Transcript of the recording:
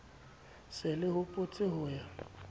se le hopotse ho ya